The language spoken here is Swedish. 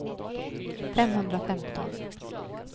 femhundrafemton